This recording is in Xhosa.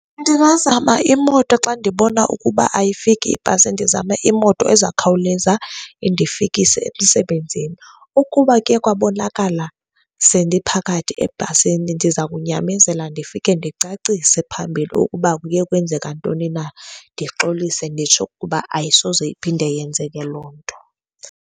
Ndingazama imoto xa ndibona ukuba ayifiki ibhasi, ndizame imoto ezawukhawuleza indifikise emsebenzini. Ukuba kuye kwabonakala sendiphakathi ebhasini ndiza kunyamezela ndifike ndicacise phambili ukuba kuye kwenzeka ntoni na, ndixolise nditsho ukuba ayisoze iphinde yenzeke loo nto.